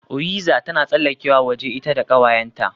Oyiza tana tsallakewa waje ita da kawayenta